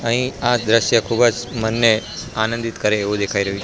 અહીં આ દ્રશ્ય ખુબજ મનને આનંદિત કરે એવુ દેખાઈ રહ્યુ--